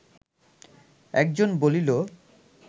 একজন বলিল